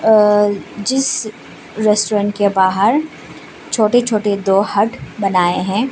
अ जिस रेस्टोरेंट के बाहर छोटे छोटे दो हट बनाए हैं।